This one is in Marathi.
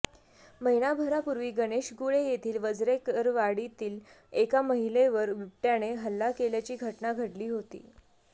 महिनाभरापूर्वी गणेशगुळे येथील वजरेकरवाडीतील एका महिलेवर बिबटय़ाने हल्ला केल्याची घटना घडली होती